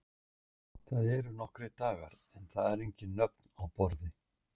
Það eru nokkrir dagar en það eru engin nöfn á borði.